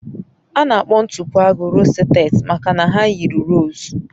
A na-akpọ ntụpọ agu rosettes maka na ha yiri rose